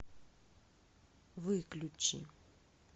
выключи